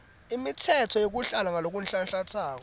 imitsetfo yeluhlaka ngalokunhlanhlantsako